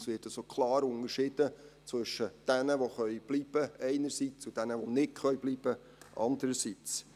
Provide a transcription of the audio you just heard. Es wird also klar unterschieden zwischen denen, die bleiben können einerseits, und denen die nicht bleiben können andererseits.